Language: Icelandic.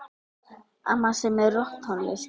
Amma semur rokktónlist.